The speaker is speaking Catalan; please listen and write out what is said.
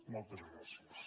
moltes gràcies